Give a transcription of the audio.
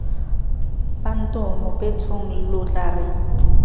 bantomo betshong lo tla re